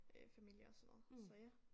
Øh familie og sådan noget så ja